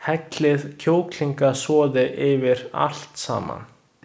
Hellið kjúklingasoði yfir allt saman.